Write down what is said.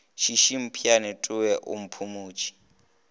šiši mpheane towe o mphumetše